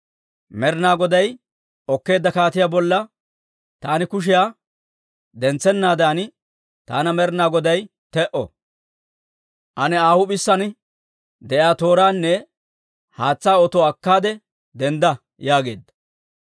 Med'inaa Goday okkeedda kaatiyaa bolla taani kushiyaa dentsennaadan taana Med'inaa Goday te"o. Ane Aa huup'isaan de'iyaa tooraanne haatsaa otuwaa akkaade dendda» yaageedda.